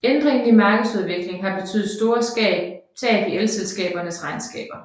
Ændringen i markedsudvikling har betydet store tab i elselskabernes regnskaber